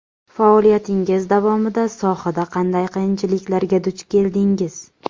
Faoliyatingiz davomida sohada qanday qiyinchiliklarga duch keldingiz?